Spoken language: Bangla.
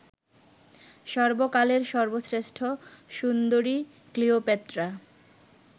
সর্বকালের সর্বশ্রেষ্ঠ সুন্দরী ক্লিওপেট্রা